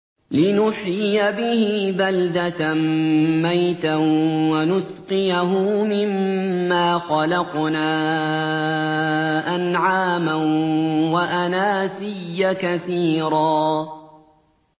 لِّنُحْيِيَ بِهِ بَلْدَةً مَّيْتًا وَنُسْقِيَهُ مِمَّا خَلَقْنَا أَنْعَامًا وَأَنَاسِيَّ كَثِيرًا